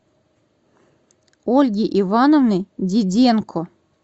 ольги ивановны диденко